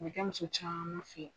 A bɛ kɛ muso caman fɛ.